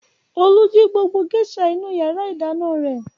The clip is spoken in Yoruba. Olú jí gbogbo géíṣà inú ìyàrá-ìdáná rẹ̀.